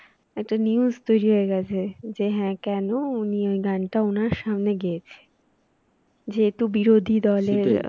একটা news তৈরি হয়ে গেছে যে হ্যাঁ কেন উনি ওই গানটা ওনার সামনে গেয়েছে যেহেতু বিরোধী দলের